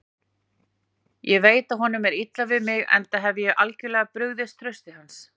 Ég veit að honum er illa við mig, enda hef ég algjörlega brugðist trausti hans.